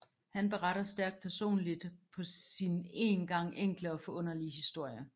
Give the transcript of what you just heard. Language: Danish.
Han beretter stærkt personligt sin på een gang enkle og forunderlige historie